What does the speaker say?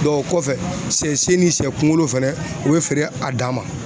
o kɔfɛ ,sɛ sen ni sɛ kunkolo fɛnɛ u be feere a dan ma.